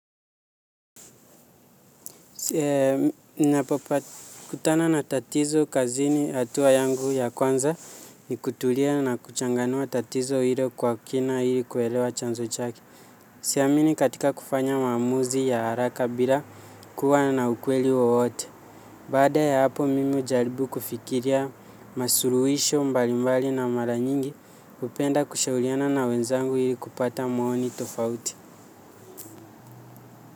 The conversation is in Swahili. Kutana na tatizo kazini hatua yangu ya kwanza ni kutulia na kuchanganua tatizo hilo kwa kina ili kuelewa chanzo chake. Siamini katika kufanya maamuzi ya haraka bila kuwa na ukweli wowote. Baada ya hapo mimi hujaribu kufikiria masuluhisho mbalimbali na mara nyingi hupenda kushauriana na wenzangu ili kupata maoni tofauti.